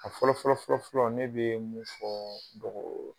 A fɔlɔ fɔlɔ fɔlɔ fɔlɔ ne bɛ mun fɔ ?